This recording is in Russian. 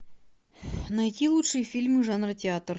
найти лучшие фильмы жанра театр